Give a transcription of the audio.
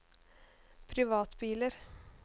privatbiler